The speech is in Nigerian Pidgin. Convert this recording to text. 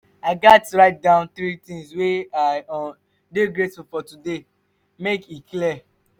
i gats write down three things wey i um dey grateful for today make e clear.